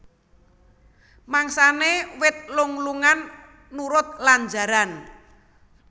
Mangsané wit lung lungan nurut lanjaran